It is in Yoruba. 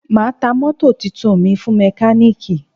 Ma ta mótò tuntun mi fún mekaniki